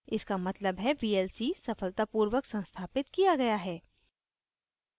इसका मतलब है vlc सफलतापूर्वक संस्थापित किया गया है